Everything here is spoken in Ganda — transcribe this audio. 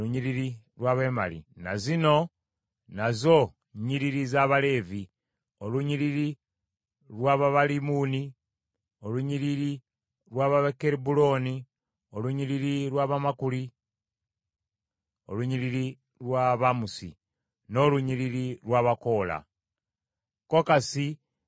Ne zino nazo nnyiriri za Baleevi: olunyiriri lw’Ababalibuni, olunyiriri lw’Abakebbulooni, olunyiriri lw’Abamakuli, olunyiriri lw’Abamusi, n’olunyiriri lw’Abakoola. Kokasi yazaala Amulaamu.